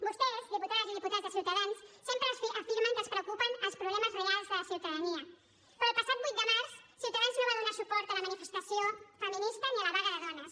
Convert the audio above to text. vostès diputades i diputats de ciutadans sempre afirmen que els preocupen els problemes reals de la ciutadania però el passat vuit de març ciutadans no va donar suport a la manifestació feminista ni a la vaga de dones